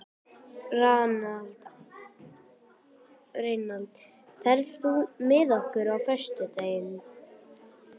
Reynald, ferð þú með okkur á föstudaginn?